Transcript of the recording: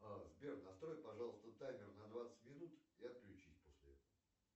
сбер настрой пожалуйста таймер на двадцать минут и отключись после этого